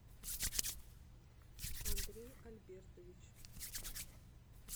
андрей альбертович